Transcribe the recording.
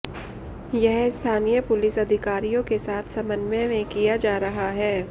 यह स्थानीय पुलिस अधिकारियों के साथ समन्वय में किया जा रहा है